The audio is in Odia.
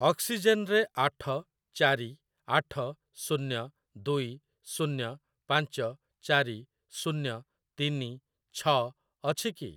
ଅକ୍ସିଜେନ୍ ରେ ଆଠ ଚାରି ଆଠ ଶୂନ୍ୟ ଦୁଇ ଶୂନ୍ୟ ପାଞ୍ଚ ଚାରି ଶୂନ୍ୟ ତିନି ଛ ଅଛି କି?